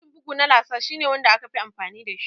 Inji bugu na laser shi ne wanda aka fi amfani dashi